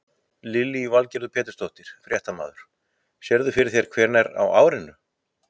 Lillý Valgerður Pétursdóttir, fréttamaður: Sérðu fyrir þér hvenær á árinu?